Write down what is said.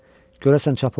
Görəsən çap olunub?